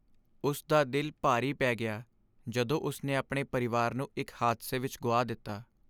ਉਸ ਦਾ ਦਿਲ ਭਾਰੀ ਪੈ ਗਿਆ ਜਦੋਂ ਉਸ ਨੇ ਆਪਣੇ ਪਰਿਵਾਰ ਨੂੰ ਇਕ ਹਾਦਸੇ ਵਿਚ ਗੁਆ ਦਿੱਤਾ।